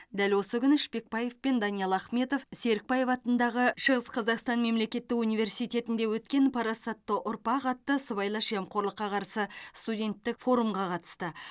дәл осы күні шпекбаев пен даниал ахметов серікбаев атындағы шығыс қазақстан ммемлекеттік университетінде өткен парасатты ұрпақ атты сыбайлас жемқорлыққа қарсы студенттік форумға қатысты